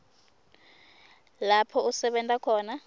lapho usebenta khona